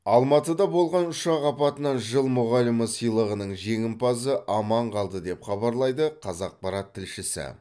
алматыда болған ұшақ апатынан жыл мұғалімі сыйлығының жеңімпазы аман қалды деп хабарлайды қазақпарат тілшісі